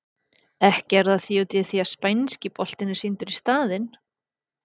Ekki er það út af því að spænski boltinn er sýndur í staðinn?